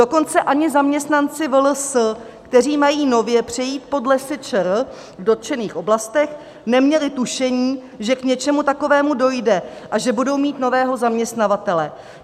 Dokonce ani zaměstnanci VLS, kteří mají nově přejít pod Lesy ČR v dotčených oblastech, neměli tušení, že k něčemu takovému dojde a že budou mít nového zaměstnavatele.